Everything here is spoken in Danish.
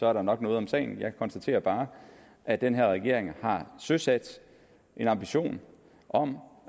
er der nok noget om snakken jeg konstaterer bare at den her regering har søsat en ambition om